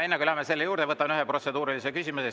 Enne kui läheme selle juurde, võtan ühe protseduurilise küsimuse.